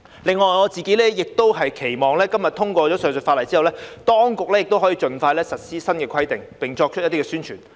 此外，我自己亦期望今天本會通過上述法例後，當局可以盡快實施新規定並作出宣傳。